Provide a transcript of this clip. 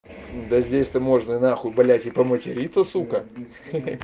да здесь ты можно на хуй блядь и по материться сука